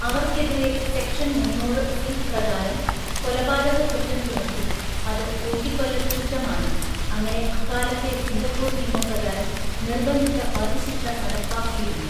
അവർക്കെതിരെ സെക്ഷൻ മുന്നൂറ് (സി) പ്രകാരം കൊലപാതക കുറ്റം ചുമത്തി, അത് തൂക്കിക്കൊല്ലൽ കുറ്റമാണ്, അങ്ങനെ അക്കാലത്തെ സിംഗപ്പൂർ നിയമപ്രകാരം നിർബന്ധിത വധശിക്ഷ നടപ്പാക്കിയിരുന്നു.